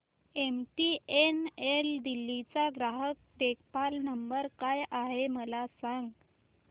MTNL Delhi चा ग्राहक देखभाल नंबर काय आहे मला सांग